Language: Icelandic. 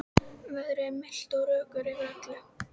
Veðrið er milt og rökkur yfir öllu.